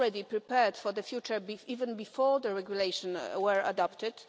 already prepared for the future even before the regulations were adopted.